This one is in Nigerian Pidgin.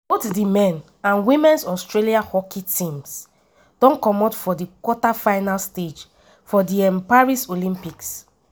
both di men and women’s australia hockey teams don comot for di quarterfinal stage for di um paris olympics.